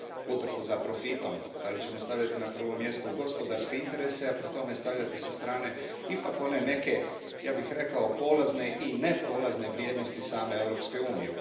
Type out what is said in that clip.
utrku za profitom, hoćemo li stavljati na prvo mjesto gospodarske interese, a pri tome stavljati sa strane ipak one neke, ja bih rekao, polazne i neprolazne vrijednosti same Europske unije.